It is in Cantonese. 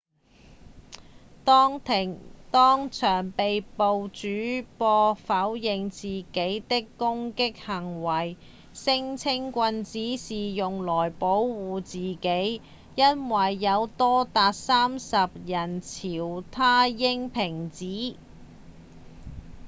當場被捕的主播否認自己的攻擊行為聲稱棍子是用來保護自己因為有多達30個人朝他扔瓶子